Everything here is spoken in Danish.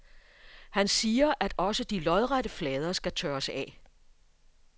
Han siger, at også de lodrette flader skal tørres af.